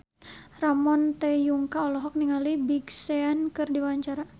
Ramon T. Yungka olohok ningali Big Sean keur diwawancara